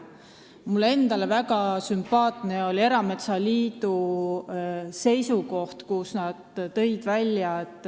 Mulle endale on väga sümpaatne erametsaliidu seisukoht.